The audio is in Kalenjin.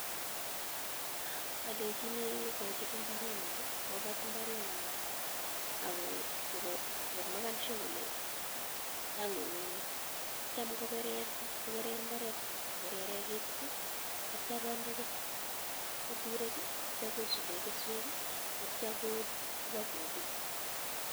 olenjini kochob imbarenyin kobat imbarenyin ak komeken sure kolee tian ngungunyek akitio ko kerer mbaret ko kereren ketit akitio konde keturek akitio kosuben keswek akitio ibokobis.